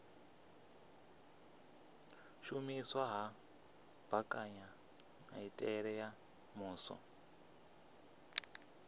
shumiswa ha mbekanyamitele ya muvhuso